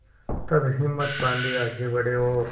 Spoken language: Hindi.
तब हिम्मत बॉँधी आगे बड़े और